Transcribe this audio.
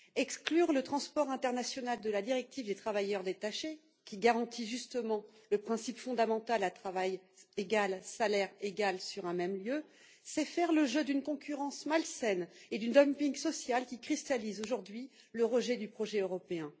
Exclure le transport international de la directive sur les travailleurs détachés, qui garantit justement le principe fondamental à travail égal, salaire égal sur un même lieu, c'est faire le jeu d'une concurrence malsaine et du dumping social, qui cristallisent aujourd'hui le rejet du projet européen.